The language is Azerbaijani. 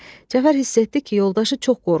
Cəfər hiss etdi ki, yoldaşı çox qorxur.